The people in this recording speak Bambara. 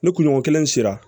Ni kunɲɔgɔn kelen sera